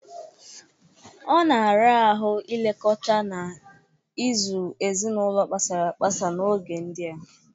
Ọ na-ara ahụ ilekọta na ịzụ ezinaụlọ kpasara agbasa n'oge ndịa.